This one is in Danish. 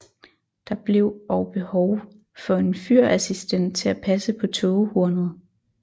Der blev og behov for en fyrassistent til at passe på tågehornet